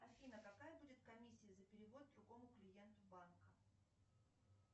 афина какая будет комиссия за перевод другому клиенту банка